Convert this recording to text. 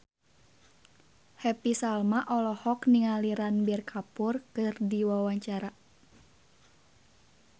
Happy Salma olohok ningali Ranbir Kapoor keur diwawancara